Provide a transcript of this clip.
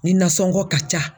Nin nasɔngɔ ka ca